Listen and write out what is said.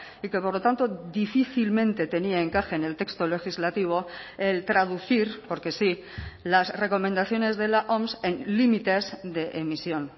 y que por lo tanto difícilmente tenía encaje en el texto legislativo el traducir porque sí las recomendaciones de la oms en límites de emisión